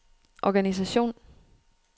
organisation